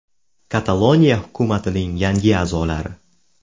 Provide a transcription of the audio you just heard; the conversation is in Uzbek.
Kataloniya hukumatining yangi a’zolari.